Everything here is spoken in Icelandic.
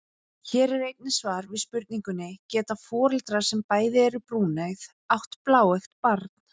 Hér er einnig svar við spurningunni: Geta foreldrar sem bæði eru brúneygð átt bláeygt barn?